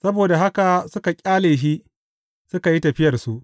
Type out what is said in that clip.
Saboda haka suka ƙyale shi, suka yi tafiyarsu.